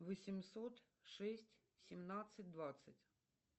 восемьсот шесть семнадцать двадцать